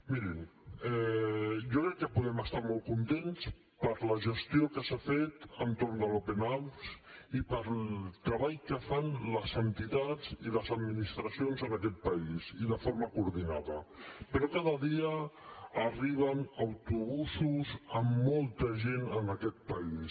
mirin jo crec que podem estar molt contents per la gestió que s’ha fet entorn de l’open arms i pel treball que fan les entitats i les administracions en aquest país i de forma coordinada però cada dia arriben autobusos amb molta gent en aquest país